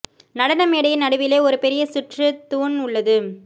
நடன மேடையின் நடுவிலே ஒரு பெரிய சுற்று தூண் உள்ளது